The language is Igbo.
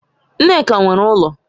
Nneka nwere ulo